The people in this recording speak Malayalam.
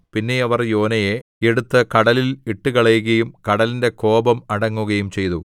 പിന്നെ അവർ യോനയെ എടുത്ത് കടലിൽ ഇട്ടുകളകയും കടലിന്റെ കോപം അടങ്ങുകയും ചെയ്തു